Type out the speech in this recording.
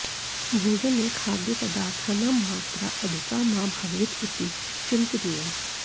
भोजने खाद्यपदार्थानां मात्रा अधिका मा भवेत् इति चिन्तनीयम्